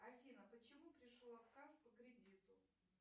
афина почему пришел отказ по кредиту